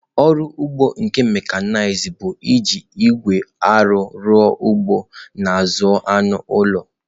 Ọrụ ugbo nke mekanized bụ iji igwe arụ ọrụ ugbo na ịzụ anụ ụlọ.